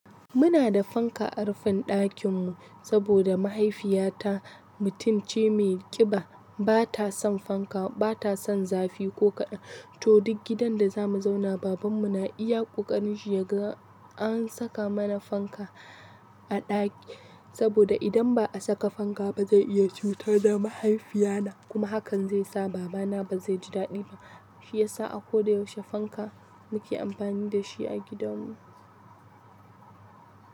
Muna da fanka a rufin ɗakinmu saboda mahaifiyata mutum ce mai ƙiba, bata son zafi ko kaɗan. To duk gidan da zamu zauna, babanmu na iya ƙoƙarin shi yaga an saka mana fanka a ɗaki saboda idan ba'a saka fanka ba zai iya cutar da mahaifiyana kuma hakan zaisa babana ba zaiji daɗi ba. Shiyasa a koda yaushe fanka muke amfani dashi a gidanmu.